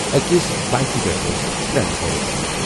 أکِس بایکہِ پٮ۪ٹھ ٲسۍ ترٛےٚ نفر۔